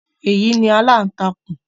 Èyí ni “aláǹtakùn”.